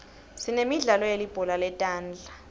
sinemidlalo yelibhola letandla